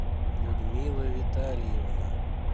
людмила витальевна